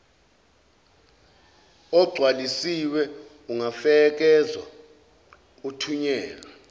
ogcwalisiwe ungafekswa uthunyelwe